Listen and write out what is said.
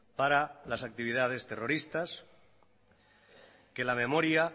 para las actividades terroristas que la memoria